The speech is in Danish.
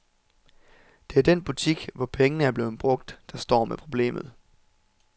Det er den butik, hvor pengene er blevet brugt, der står med problemet.